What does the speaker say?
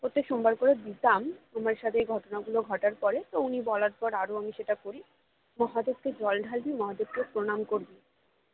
প্রত্যেক সোমবার করে দিতাম আমার সাথে এই ঘটনা গুলি ঘটার পরে তো উনি বলার পরে আরো আমি সেটা করি মহাদেবকে জল ঢালবি মহাদেবকে প্রণাম করবি